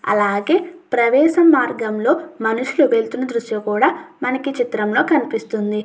అలాగే ప్రవేశం మార్గంలో మనుషులు వెళుతున్న దృశ్యం కూడా మనకి ఈ చిత్రంలో కనిపిస్తుంది.